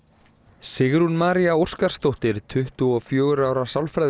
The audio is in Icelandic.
Sigrún María Óskarsdóttir tuttugu og fjögurra ára